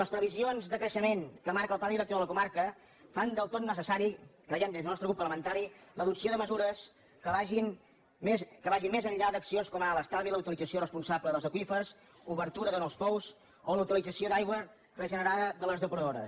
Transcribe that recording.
les previsions de creixement que marca el pla director de la comarca fan del tot necessari creiem des del nostre grup parlamentari l’adopció de mesures que vagin més enllà d’accions com ara l’estalvi la utilització responsable dels aqüífers l’obertura de nous pous o la utilització d’aigua regenerada de les depuradores